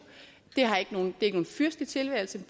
det er ikke nogen fyrstelig tilværelse